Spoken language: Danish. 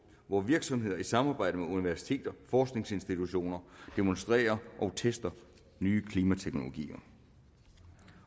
hvor virksomheder i samarbejde med universiteter og forskningsinstitutioner demonstrerer og tester nye klimateknologier